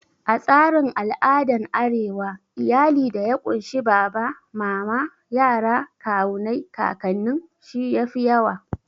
A tsarin al'adan arewa, iyali da ya kunshi baba, mama, yara, kawunai, kakannin shi yafi yawa